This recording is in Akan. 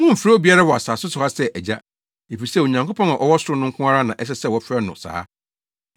Mommfrɛ obiara wɔ asase so ha sɛ ‘Agya,’ efisɛ Onyankopɔn a ɔwɔ ɔsoro no nko ara na ɛsɛ sɛ wɔfrɛ no saa.